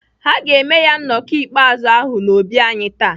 Ha ga-eme ya nnọkọ mkpezi ahụ n'obi anyị taa.